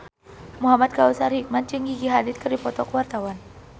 Muhamad Kautsar Hikmat jeung Gigi Hadid keur dipoto ku wartawan